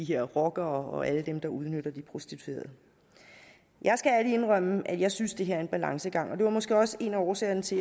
her rockere og alle dem der udnytter de prostituerede jeg skal ærligt indrømme at jeg synes det her er en balancegang og det var måske også en af årsagerne til